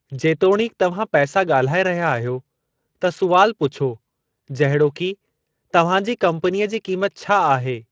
जेतोणीकि तव्हां पैसा ॻाल्हाए रहिया आहियो, त सुवालु पुछो जहिड़ोकि, "तव्हां जी कम्पनीअ जी क़ीमत छा आहे?"